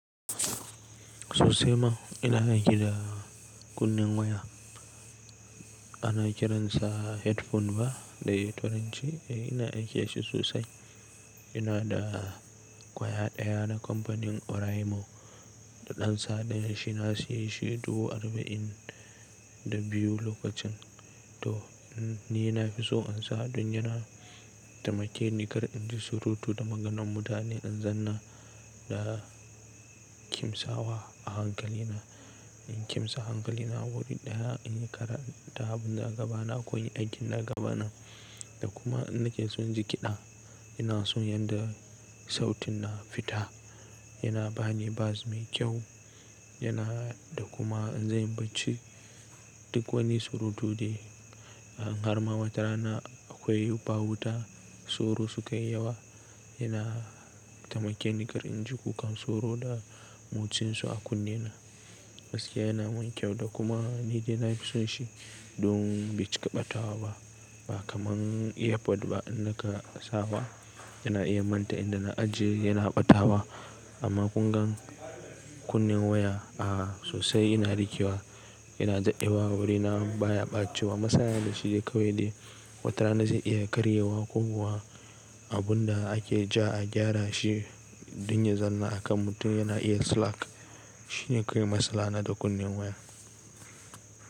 Sosai ma ina aiki da kun-nen waya. Ana kiransa headphone ba da yaren tauranci. Ina aiki dashi sosai. Inada kwaya ɗaya na kamfanin Oraimo da ɗan sa ɗaya. Shi na seyi shi dubu arba'in da biyu lokacin. To ni na fi so in sa don yana taimake ni kar in ji surutu da maganan mutane. In zanna da kim sawa a hankali na. In kimsa hankali na wuri ɗaya, in yi karanta abun da a gaba na ko inyi aikin da gaba na da kuma in nake son ji kiɗa ina son yanda sautin na fita. Yana bani bas mai kyau yana da kuma in zai yi bacci duk woni surutu dai in harma watarana akoi bawuta sauro su kayi yawa. Yana taimake ni kar in ji kukan sauro da motsin su a kunne na. Gaskiya yana min kyau da kuma ni dai na fi son shi don bai cika ɓatawa ba. Ba kaman Airport ba in naka sawa ina iya manta inda na ajiye yana ɓatawa. Amma kungan kunnen waya a sosai ina rike wa. Yana daɗewa a wurina baya ɓacewa. Masala na da shi dai kawai dai watarana zai iya karyewa ko kuwa abun da ake ja a gyara shi. Don ya zanna a kan mutum yana iya slack shine kawai matsala na da kunnen waya.